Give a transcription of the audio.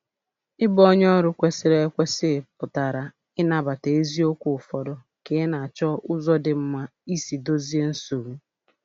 Ịbụ onye ọrụ kwesịrị ekwesị pụtara ịnabata eziokwu ụfọdụ ka ị na-achọ ụzọ dị mma isi dozie nsogbu.